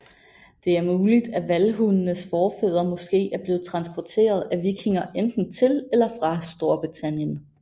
Det er muligt at vallhundens forfædre måske er blevet transporteret af vikinger enten til eller fra Storbritannien